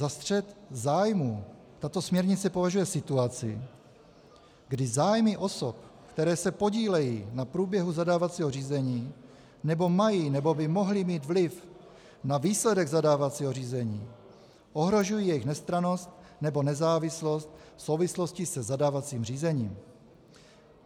Za střet zájmů tato směrnice považuje situaci, kdy zájmy osob, které se podílejí na průběhu zadávacího řízení nebo mají nebo by mohly mít vliv na výsledek zadávacího řízení, ohrožují jejich nestrannost nebo nezávislost v souvislosti se zadávacím řízením.